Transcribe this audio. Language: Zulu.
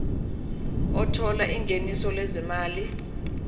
othola ingeniso lezimali